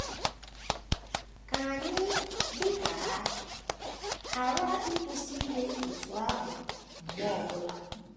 Ka anyị, dị ka ha,, ghara ịkwụsị ime otú ahụ mgbe ọ bụla.